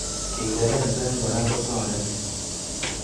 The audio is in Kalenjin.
Kingerezek Kora kotareti